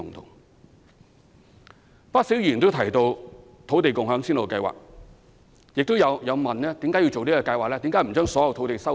有不少議員提到土地共享先導計劃，亦問及為何要進行這計劃？